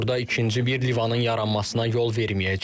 Orada ikinci bir Livanın yaranmasına yol verməyəcəyik.